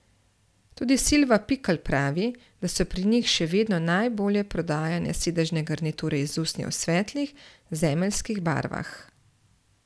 Tudi Silva Pikl pravi, da so pri njih še vedno najbolje prodajane sedežne garniture iz usnja v svetlih, zemeljskih barvah.